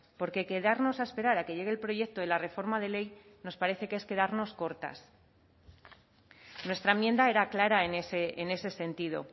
porque quedarnos a esperar a que llegue el proyecto de la reforma de ley nos parece que es quedarnos cortas nuestra enmienda era clara en ese sentido